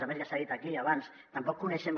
a més ja s’ha dit aquí abans tampoc coneixem